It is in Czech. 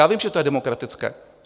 Já vím, že je to demokratické.